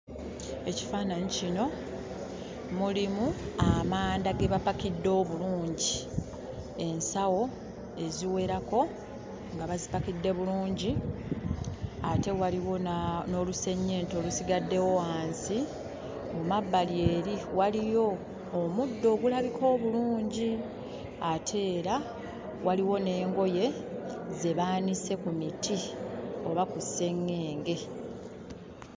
Ekifaananyi kino mulimu amanda ge bapakidde obulungi; ensawo eziwerako nga bazipakidde bulungi. Ate waliwo n'olusennyente olusigaddewo wansi. Mu mabbali eri waliyo omuddo ogulabika obulungi, ate era waliwo n'engoye ze baanise ku miti oba ku sseŋŋenge.